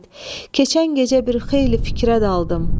İsmət, keçən gecə bir xeyli fikrə daldım.